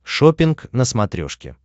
шоппинг на смотрешке